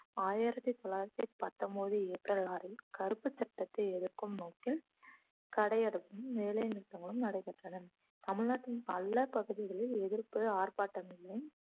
ஆயிரத்தி தொள்ளாயிரத்தி பத்தொன்பது ஏப்ரல் ஆறில் கருப்பு சட்டத்தை எதிர்க்கும் நோக்கில் கடையடைப்பும் வேலை நிறுத்தங்களும் நடைபெற்றன தமிழ்நாட்டின் பல பகுதிகளில் எதிர்ப்பு ஆர்ப்பாட்டம் எல்லாம்